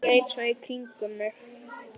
Leit svo í kringum mig.